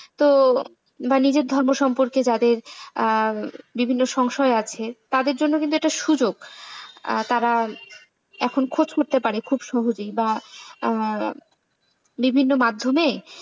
তো বা নিজের ধর্ম সম্পর্কে যাদের আ বিভিন্ন সংশয় আছে তাদের জন্য এটা কিন্তু সুযোগ তারা এখন খোঁজ করতে পারে খুব সহজেই বা আ বিভিন্ন মাধ্যমে।